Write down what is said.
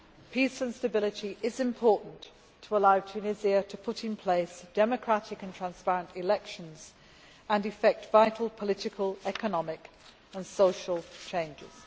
Peace and stability is important to allow Tunisia to put in place democratic and transparent elections and effect vital political, economic and social changes.